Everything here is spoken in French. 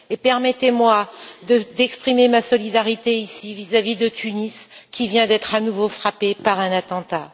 Permettez moi d'exprimer ma solidarité vis à vis de Tunis qui vient d'être à nouveau frappée par un attentat.